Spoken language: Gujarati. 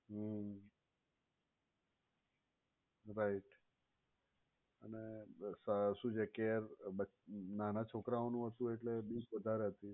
હમ્મ right અને શું છે કે but નાના છોકરાઓનું હતું એટલે બીક વધારે હતી.